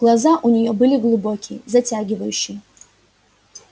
глаза у нее были глубокие затягивающие